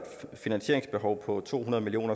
finansieringsbehov på to hundrede million